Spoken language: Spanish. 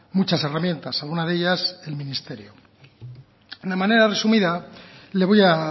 muchas herramientas alguna de ellas el ministerio de una manera resumida le voy a